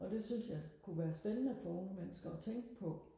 og det synes jeg kunne være spændende for unge mennesker og tænke på